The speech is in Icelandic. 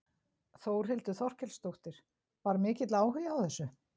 Þórhildur Þorkelsdóttir: Var mikill áhugi á þessu?